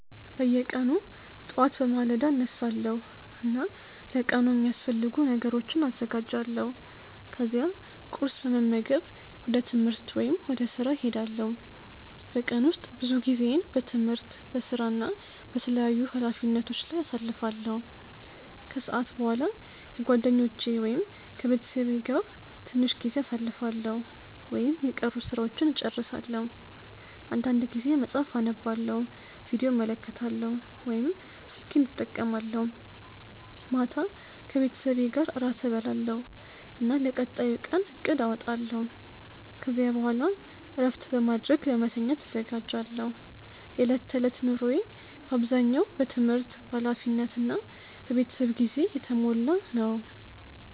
በየቀኑ ጠዋት በማለዳ እነሳለሁ እና ለቀኑ የሚያስፈልጉ ነገሮችን አዘጋጃለሁ። ከዚያ ቁርስ በመመገብ ወደ ትምህርት ወይም ወደ ሥራ እሄዳለሁ። በቀን ውስጥ ብዙ ጊዜዬን በትምህርት፣ በሥራ እና በተለያዩ ኃላፊነቶች ላይ አሳልፋለሁ። ከሰዓት በኋላ ከጓደኞቼ ወይም ከቤተሰቤ ጋር ትንሽ ጊዜ አሳልፋለሁ ወይም የቀሩ ሥራዎችን እጨርሳለሁ። አንዳንድ ጊዜ መጽሐፍ አነባለሁ፣ ቪዲዮ እመለከታለሁ ወይም ስልኬን እጠቀማለሁ። ማታ ከቤተሰቤ ጋር እራት እበላለሁ እና ለቀጣዩ ቀን እቅድ አወጣለሁ። ከዚያ በኋላ እረፍት በማድረግ ለመተኛት እዘጋጃለሁ። የዕለት ተዕለት ኑሮዬ በአብዛኛው በትምህርት፣ በኃላፊነት እና በቤተሰብ ጊዜ የተሞላ ነው።